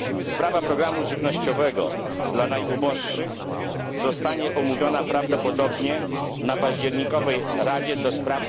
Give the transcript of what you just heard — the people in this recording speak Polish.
Sprawa programu żywnościowego dla najuboższych zostanie omówiona prawdopodobnie na październikowej Radzie ds.